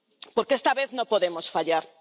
Porque esta vez no podemos fallar.